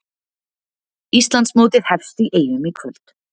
Íslandsmótið hefst í Eyjum í kvöld